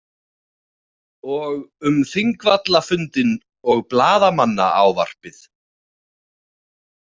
Og um Þingvallafundinn og blaðamannaávarpið.